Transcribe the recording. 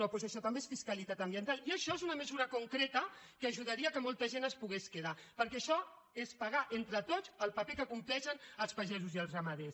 doncs això també és fiscalitat ambiental i això és una mesura concreta que ajudaria que molta gent es pogués quedar perquè això és pagar entre tots el paper que compleixen els pagesos i els ramaders